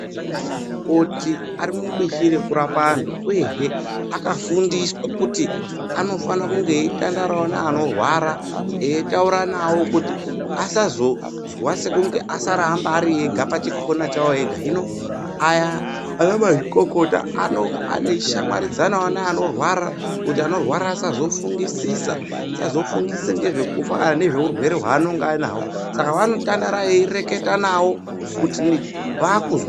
Anamukoti arimubishi rekurapa antu, uyehe akafundiswa kuti anofana kunge eitandaravo neanorwara eitaura navo kuti asazozwa sekunge asaramba ari ega pachikona chavo ega. Hino aya ana mazvikokota anonga ane shamwaridzanavo neanorwara kuti anorwara asazofungisisa, asazofungisisa nezvekufa kana nezveurwere vanenge anaho. Saka vanotandara eireketa navo kuti vakuzwa.